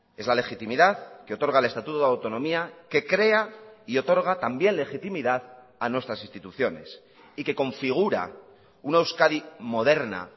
es la legitimidad que otorga el estatuto de autonomía que crea y otorga también legitimidad a nuestras instituciones y que configura una euskadi moderna